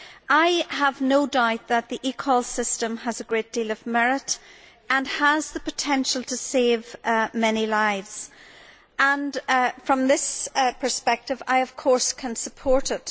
I have no doubt that the eCall system has a great deal of merit and has the potential to save many lives, and from this perspective I can, of course, support it.